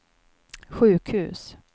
sjukhus